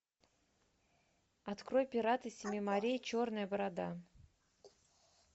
открой пираты семи морей черная борода